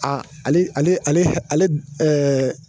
Aa ale ale ale ale ɛɛɛ